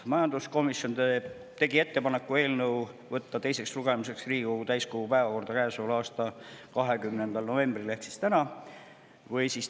Majanduskomisjon tegi ettepaneku võtta eelnõu teiseks lugemiseks Riigikogu täiskogu päevakorda käesoleva aasta 20. novembril ehk siis täna.